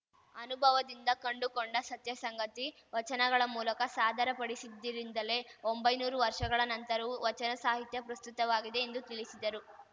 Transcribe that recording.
ಅನುಭವದಿಂದ ಕಂಡುಕೊಂಡ ಸತ್ಯಸಂಗತಿ ವಚನಗಳ ಮೂಲಕ ಸಾದರಪಡಿಸಿದ್ದಿರಿಂದಲೇ ಒಂಬೈನೂರು ವರ್ಷಗಳ ನಂತರವೂ ವಚನ ಸಾಹಿತ್ಯ ಪ್ರಸ್ತುತವಾಗಿದೆ ಎಂದು ತಿಳಿಸಿದರು